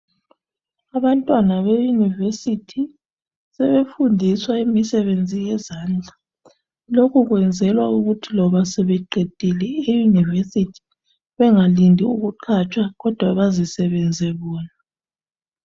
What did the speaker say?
Abantwana be"University " sebefundiswa imisebenzi yezandla lokho kwenzelwa ukuthi loba sebeqedile i" University " bengalindi ukuqhatshwa kodwa bazisebenzise bona.